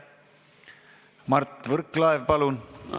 Mart Võrklaev, palun!